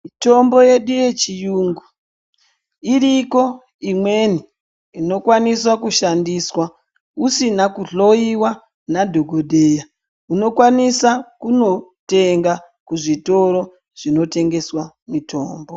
Mitombo yedu ye chiyungu iriko imweni inokwanisa ku shandiswa usina ku hloyiwa na dhokodheya unokwanisa kuno tenga ku zvitora zvino tengeswa mitombo.